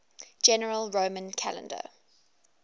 general roman calendar